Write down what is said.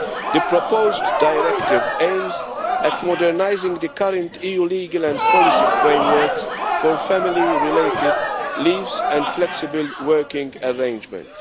The proposed directive aims at modernising the current EU legal and policy frameworks for family related leave and flexible working arrangements.